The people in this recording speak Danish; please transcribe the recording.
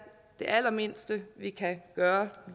det allermindste vi kan gøre